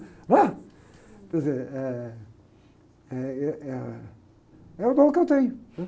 né? Quer dizer, eh, ih, eh, é o dom que eu tenho, né?